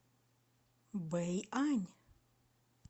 бэйань